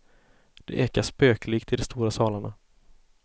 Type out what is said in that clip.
Det ekar spöklikt i de stora salarna.